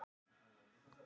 Dæmi þessa er Sandfell í